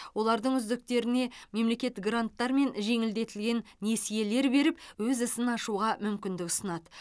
олардың үздіктеріне мемлекет гранттар мен жеңілдетілген несиелер беріп өз ісін ашуға мүмкіндік ұсынады